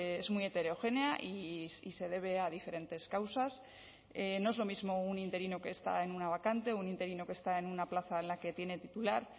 es muy heterogénea y se debe a diferentes causas no es lo mismo un interino que está en una vacante un interino que está en una plaza en la que tiene titular